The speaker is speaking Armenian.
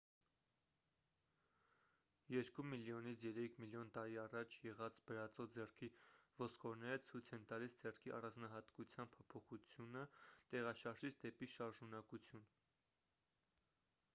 երկու միլիոնից երեք միլիոն տարի առաջ եղած բրածո ձեռքի ոսկորները ցույց են տալիս ձեռքի առանձնահատկության փոփոխությունը տեղաշարժից դեպի շարժունակություն